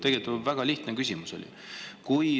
Tegelikult oli väga lihtne küsimus.